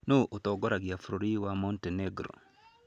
Nũũ ũratongoria bũrũri wa Montenegro?